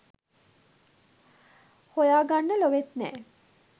හොයාගන්න ලොවෙත් නෑ